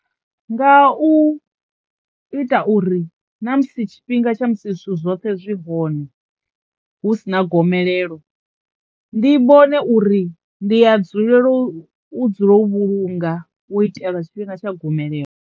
Nga u ita uri na musi tshifhinga tsha musi zwithu zwoṱhe zwi hone hu si na gomelelo ndi vhone uri ndi a dzulelo u dzulo u vhulunga u itela tshifhinga tsha gomelelo.